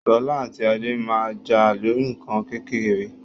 Sola ati Ade maa n ja lori nkan kekere